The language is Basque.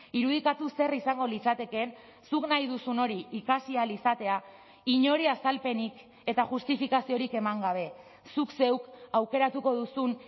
irudikatu zer izango litzatekeen zuk nahi duzun hori ikasi ahal izatea inori azalpenik eta justifikaziorik eman gabe zuk zeuk aukeratuko duzun